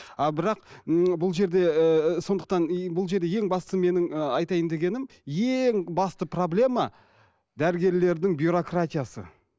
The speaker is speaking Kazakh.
а бірақ м бұл жерде ы сондықтан и бұл жерде ең басты менің ы айтайын дегенім ең басты проблема дәрігерлердің бюрократиясы